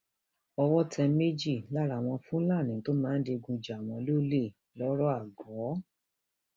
owó tẹ méjì lára àwọn fúlàní tó máa ń digun jà wọn lọlẹ lọrọago